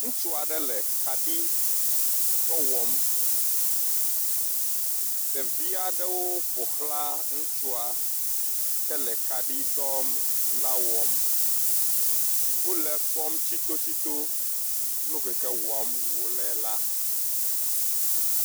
Ŋutsu aɖe le kaɖidɔ wɔm. Ɖevi aɖewo ƒoxla ŋutsua ke le kaɖi dɔ la wɔm. wo le kpɔm tsitotsito nukeke wɔm wo le la.